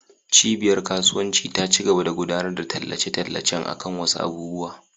Cibiyar kasuwanci ta cigaba da gudanar da tallace-tallacen akan wasu abubuwa.